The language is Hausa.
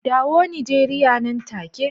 Dawo Nigeria nan take.